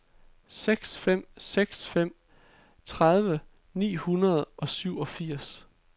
seks fem seks fem tredive ni hundrede og syvogfirs